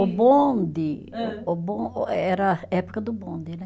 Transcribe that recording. O bonde, o bom, eh era época do bonde, né?